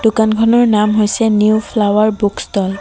দোকানখনৰ নাম হৈছে নিউ ফ্লাৱাৰ বুক ষ্ট'ল ।